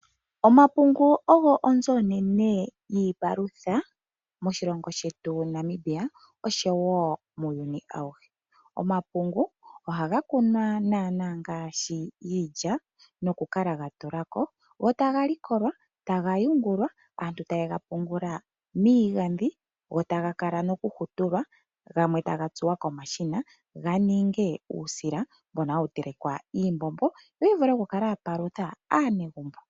Omapungu ogo onzo onene yiipalutha moshilongo shetu Namibia oshowo muuyuni auhe. Omapungu ohaga kunwa naana ngaashi iilya noku kala gatulako. Ohaga likolwa taga yungulwa taga noku tulwa miigadhi, taga hutulwa gamwe ta gatsuwa komashina ga vule okuninga uusila mbono hawu telekwa iimbombo yo kupalutha aanegumbo.